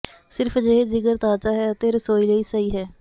ਸਿਰਫ ਅਜਿਹੇ ਜਿਗਰ ਤਾਜ਼ਾ ਹੈ ਅਤੇ ਰਸੋਈ ਲਈ ਸਹੀ ਹੈ